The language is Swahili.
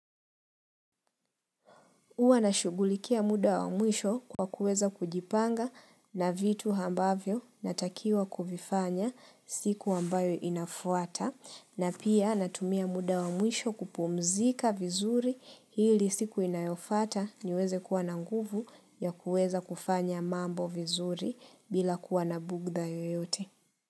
Huwa nashughulikia muda wa mwisho kwa kuweza kujipanga na vitu ambavyo natakiwa kuvifanya siku ambayo inafuata na pia natumia muda wa mwisho kupumzika vizuri ili siku inayofuata niweze kuwa na nguvu ya kuweza kufanya mambo vizuri bila kuwa na bugdha yoyote.